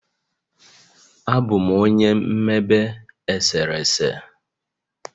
Abụ m onye mmebe eserese.